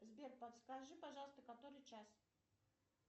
сбер подскажи пожалуйста который час